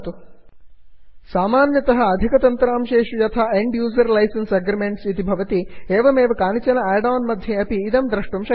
सामान्यतः अधिकतन्त्रांशेषु साफ्ट्वॆर् यथा end user licence agreements and user licence agreement इति भवति एवमेव कानिचन आड् आन् मध्ये अपि इदं द्रष्टुं शक्यते